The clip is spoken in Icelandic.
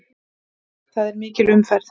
Það er mikil umferð.